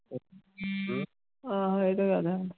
ਹਾਂ ਇਹ ਤਾਂ ਗੱਲ ਹੈ।